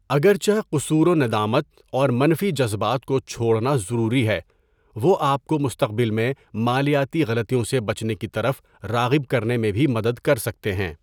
اگرچہ قصور و ندامت اور منفی جذبات کو چھوڑنا ضروری ہے، وہ آپ کو مستقبل میں مالیاتی غلطیوں سے بچنے کی طرف راغب کرنے میں بھی مدد کر سکتے ہیں۔